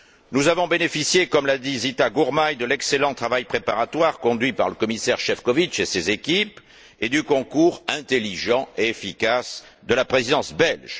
Nous avons bénéficié, comme l'a dit Zita Gurmai, de l'excellent travail préparatoire conduit par le commissaire Šefčovič et ses équipes et du concours intelligent et efficace de la Présidence belge.